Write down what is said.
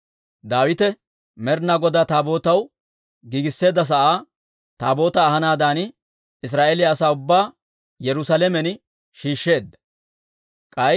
Daawite Med'inaa Goda Taabootaw giigisseedda sa'aa Taabootaa ahanaadan, Israa'eeliyaa asaa ubbaa Yerusaalamen shiishsheedda.